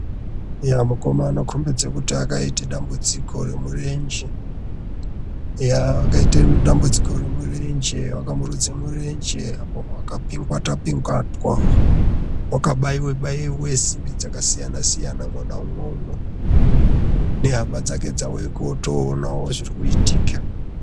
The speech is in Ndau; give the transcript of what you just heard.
Eya mukoma anokombidze kuti akaite dambudziko remurenje. Eya wakaite dambudziko remurenje wakamurudze murenje apa wakapingatwa-pingatwa. Wakabaiwe-baiwe simbi dzakasiyana-siyana mwona umwomwo. Nehama dzake dzauye kuotoonawo zviri kuitika.